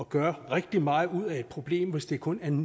gøre rigtig meget ud af et problem hvis det kun er en